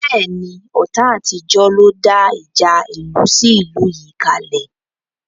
Bẹ́ẹ̀ni, ọ̀tá àtijọ́ ló dá ìjà ìlú sí ìlú yìí kale